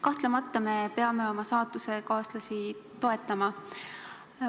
Kahtlemata me peame oma saatusekaaslasi toetama.